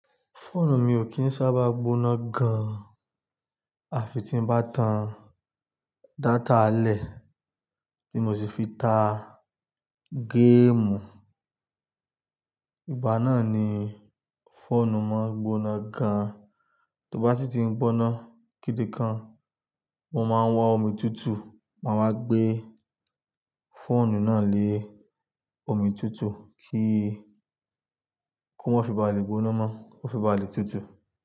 Fóònù mi ò kí ń sábà gbóná gan, àfi tí ń bá tan data lẹ̀ tí mo sì fi ta géèmù. Ìgbà náà ni fóònù máa ń gbóná gan, tó bá sì ti ń gbóná kídìkan, mo máa ń wa omi tùtù, màá wa gbé fóònù náà lé omi tùtù kí kó má fi bá à le gbóná mọ́, kó fi bá à le tùtù.